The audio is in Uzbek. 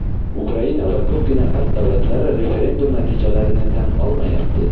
Ukraina va ko‘pgina G‘arb davlatlari referendum natijalarini tan olmayapti.